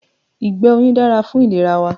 Ìgbẹ́ oyin dára fún ìlera wa